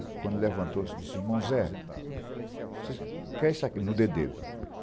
quando levantou, disse assim, irmão Zé, o que é isso aqui no dedo dele?